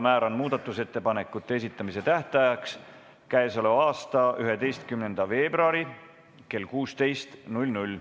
Määran muudatusettepanekute esitamise tähtajaks k.a 11. veebruari kell 16.